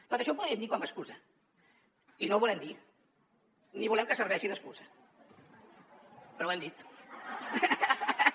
tot això ho podríem dir com a excusa i no ho volem dir ni volem que serveixi d’excusa però ho hem dit